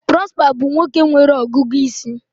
Prosper bụ nwoke nwere ọgụgụ isi